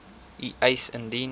u eis indien